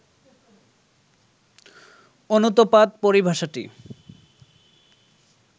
অনুতপাদ পরিভাষাটি